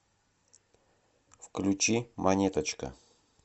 включи монеточка